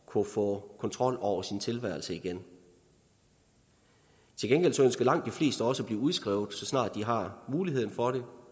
kunne få kontrol over sin tilværelse igen til gengæld ønsker langt de fleste også at blive udskrevet så snart de har muligheden for det